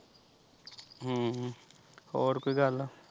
ਹਮ ਹੋਰ ਕੋਈ ਗੱਲ।